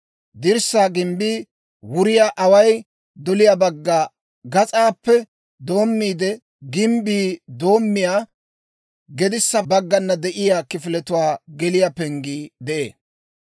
Dirssaa gimbbii wuriyaa away doliyaa bagga gas'aappe doomiide gimbbi doommiyaa gedissa baggana de'iyaa kifiletuwaa geliyaa penggii de'ee.